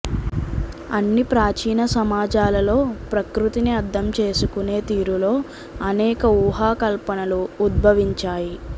అన్ని ప్రాచీన సమాజాలలో ప్రకృతిని అర్ధం చేసుకునే తీరులో అనేక ఊహాకల్పనలు ఉద్బవించాయి